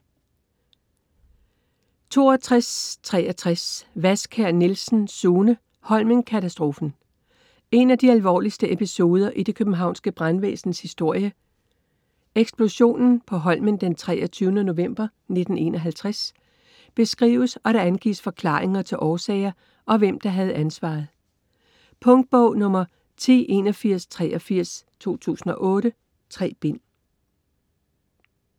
62.63 Wadskjær Nielsen, Sune: Holmenkatastrofen En af de alvorligste episoder i det Københavnske brandvæsens historie, eksplosionen på Holmen den 23. november 1951 beskrives og der angives forklaringer til årsager og hvem der havde ansvaret. Punktbog 108183 2008. 3 bind.